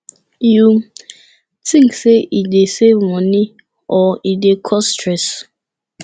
you think say e dey save money or e dey cause stress